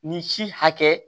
Nin si hakɛ